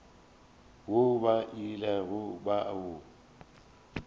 woo ba ilego ba o